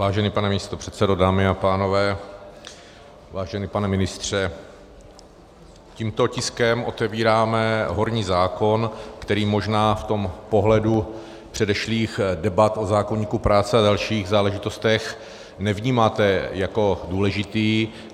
Vážený pane místopředsedo, dámy a pánové, vážený pane ministře, tímto tiskem otevíráme horní zákon, který možná v tom pohledu předešlých debat o zákoníku práce a dalších záležitostech nevnímáte jako důležitý.